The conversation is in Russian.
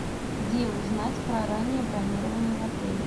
где узнать про раннее бронирование в отеле